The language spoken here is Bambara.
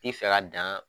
I fɛ ka dan